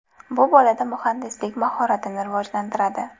Bu bolada muhandislik mahoratini rivojlantiradi.